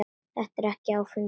Þetta er ekkert áfengi.